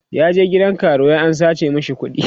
ya je gidan karuwai an sace mashi kuɗi